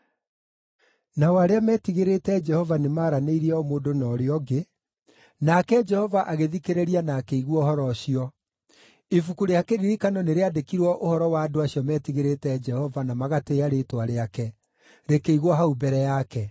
Nao arĩa meetigĩrĩte Jehova nĩmaranĩirie o mũndũ na ũrĩa ũngĩ, nake Jehova agĩthikĩrĩria na akĩigua ũhoro ũcio. Ibuku rĩa kĩririkano nĩrĩandĩkirwo ũhoro wa andũ acio metigĩrĩte Jehova na magatĩĩa rĩĩtwa rĩake, rĩkĩigwo hau mbere yake.